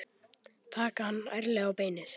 Taka hann ærlega á beinið.